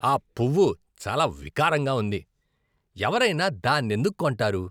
ఆ పువ్వు చాలా వికారంగా ఉంది. ఎవరైనా దాన్నెందుకు కొంటారు?